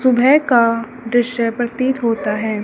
सुबह का दृश्य प्रतीत होता है।